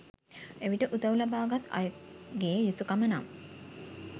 එවිට උදව් ලබාගත් අයගේ යුතුකම නම්